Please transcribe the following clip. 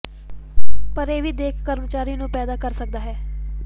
ਪਰ ਇਹ ਵੀ ਦਿੱਖ ਕਰਮਚਾਰੀ ਨੂੰ ਪੈਦਾ ਕਰ ਸਕਦਾ ਹੈ